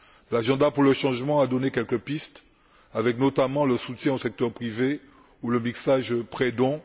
L'agenda pour le changement a donné quelques pistes avec, notamment, le soutien au secteur privé ou le mixage prêt don.